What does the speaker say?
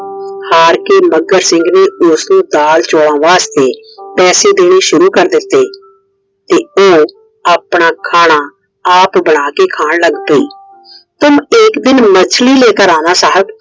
ਹਾਰ ਕੇ ਮੱਘਰ ਸਿੰਘ ਨੇ ਉਸਨੂੰ ਦਾਲ ਚੋਲਾਂ ਵਾਸਤੇ ਪੈਸੇ ਦੈਣੇ ਸ਼ੁਰੂ ਕਰਤੇ। ਉਹ ਆਪਣਾ ਖਾਣਾ ਆਪ ਬਣਾ ਕੇ ਖਾਨ ਲੱਗ ਪਈ। तुम एक दिन मछली लेकर आना साहिब।